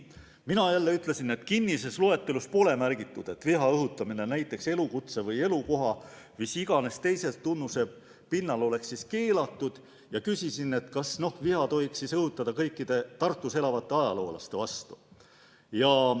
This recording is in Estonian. Mina ütlesin, et kinnises loetelus pole märgitud, et viha õhutamine näiteks elukutse või elukoha või mis iganes teise tunnuse põhjal oleks keelatud, ja küsisin, kas viha tohiks õhutada kõikide Tartus elavate ajaloolaste vastu.